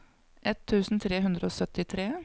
ett tusen tre hundre og syttitre